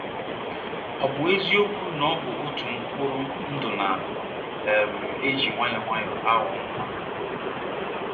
Ọ ̀ bụ eziokwu na ọ bụ otu mkpụrụ ndụ na - um eji nwayọọ nwayọọ aghọ nwa?